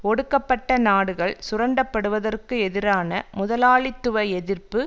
ஒடுக்கப்பட்ட நாடுகள் சுரண்டப்படுவதற்கு எதிரான முதலாளித்துவ எதிர்ப்பு